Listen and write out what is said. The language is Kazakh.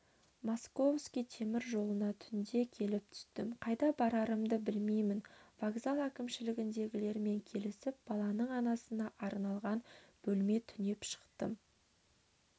московский темір жолына түнде келіп түстім қайда барарымды білмеймін вокзал әкімшілігіндегілермен келісіп баланың анасына арналған бөлме түнеп шықтым